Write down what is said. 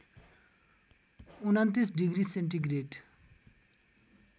२९ degree centigrade